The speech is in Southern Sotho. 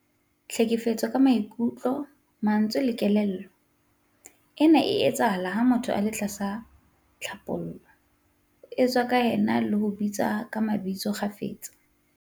Tlhekefetso ka maikutlo, mantswe le kelello- Ena e etsahala ha motho a le tlasa tlhapaolo, ho tshehwa ka ena le ho bitswa ka mabitso kgafetsa.